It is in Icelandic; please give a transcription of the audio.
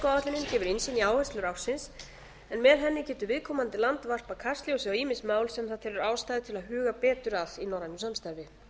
formennskuáætlunin gefur innsýn í áherslur ársins en með henni getur viðkomandi land varpað kastljósi á ýmis mál sem það telur ástæðu til að huga betur að í norrænu samstarfi